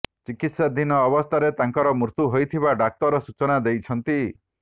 ଚିକିତ୍ସାଧୀନ ଅବସ୍ଥାରେ ତାଙ୍କର ମୃତ୍ୟୁ ହୋଇଥିବା ଡାକ୍ତର ସୂଚନା ଦେଇଛନ୍ତି